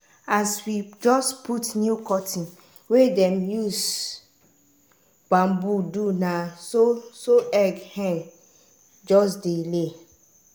as we just put new curtain wey dem use bamboo do na so so egg hen just dey lay.